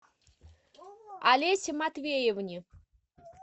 олесе матвеевне